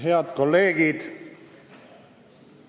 Head kolleegid!